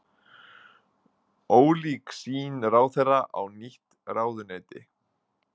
Ólík sýn ráðherra á nýtt ráðuneyti